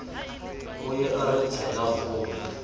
o ye a re tselakgolo